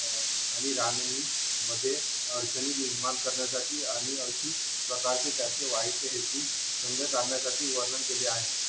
आणि मध्ये अडचणी निर्माण करण्यासाठी आणि अशी प्रकारचे त्याचे वाईट हेतू करण्यासाठी वर्णन केले आहेत